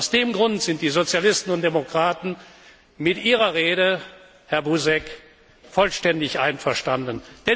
Aus diesem Grund sind die Sozialisten und Demokraten mit Ihrer Rede, Herr Buzek, vollständig einverstanden.